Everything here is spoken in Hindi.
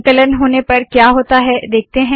संकलन होने पर क्या होता है देखते है